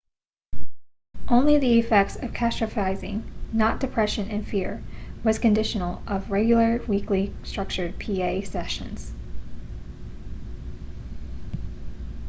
only the effects of catastrophizing not depression and fear was conditional of regular weekly structured pa sessions